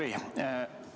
Hea Jüri!